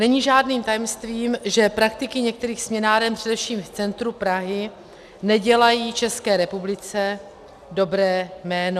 Není žádným tajemstvím, že praktiky některých směnáren, především v centru Prahy, nedělají České republice dobré jméno.